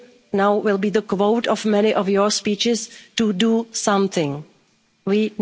Now it will be a quote in many of your speeches to do something.